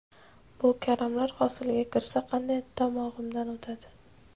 Bu karamlar hosilga kirsa, qanday tomog‘imdan o‘tadi?!